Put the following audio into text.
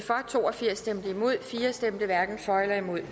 to og firs hverken for eller imod